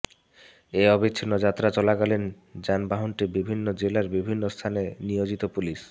এই অবিচ্ছিন্ন যাত্রা চলাকালীন যানবাহনটি বিভিন্ন জেলার বিভিন্ন স্থানে নিয়োজিত পুলিশ